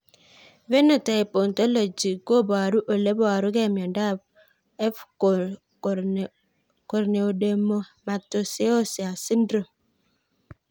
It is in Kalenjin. Phenotype ontology koparu ole parukri miondop f Corneodermatoosseous syndrome